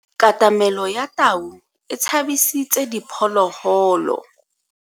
Katamelo ya tau e tshabisitse diphologolo.